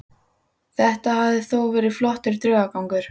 Þetta hafði þó verið flottur draugagangur.